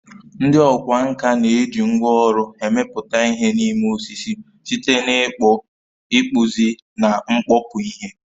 Ndị ọkwá nkà na-eji ngwá ọrụ emepụta ihe n'ime osisi, site na ịkpụ, ịkpụzi, na mkpọpu ihe.